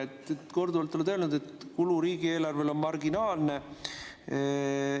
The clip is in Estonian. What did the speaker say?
Sa oled korduvalt öelnud, et kulu riigieelarvele on marginaalne.